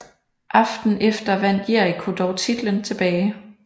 Aftenen efter vandt Jericho dog titlen tilbage